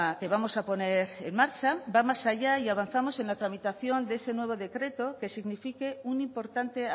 que vamos a poner en marcha va más allá y avanzamos en la tramitación de ese nuevo decreto que signifique un importante